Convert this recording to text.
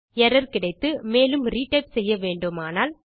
error கிடைத்து மேலும் retype செய்யவேண்டுமானால்